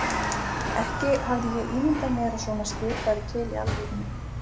Ekki hafði ég ímyndað mér að svona skip væru til í alvörunni.